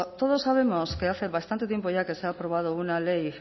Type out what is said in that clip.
todos sabemos que hace bastante tiempo ya que se ha aprobado una ley